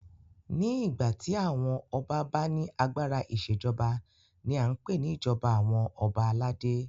Ní ìgbà tí àwọn ọba bá ní agbára ìṣèjọba ní a n pé ní ìjọba àwọn ọba aládé.